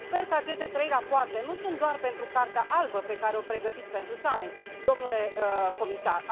Sper că aceste trei rapoarte nu sunt doar pentru cartea albă pe care o pregătiți pentru summit, domnule comisar.